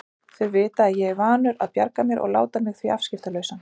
Þau vita að ég er vanur að bjarga mér og láta mig því afskiptalausan.